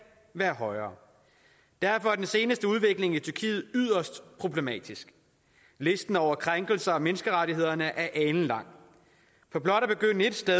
være højere derfor er den seneste udvikling i tyrkiet yderst problematisk listen over krænkelser af menneskerettighederne er alenlang for blot at begynde et sted